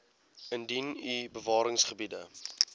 indien u bewaringsgebiede